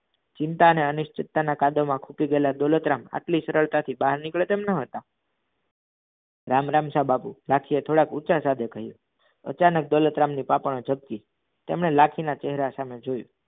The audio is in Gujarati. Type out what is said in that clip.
ચિંતા અનિશ્ચિતા ના કાદવ મા ખુપી ગયા લા દોલતરામ આટલી સરળ તાથી બહાર નિકડે તેમ ન હતા રામ રામ સા બાપુ લાખી એ થોડા ઊચા સદે કહ્યું અચાનક દોલતરામ ની પાપણો જપકી તેમણે લાખી ના ચહેરા સામે જોયું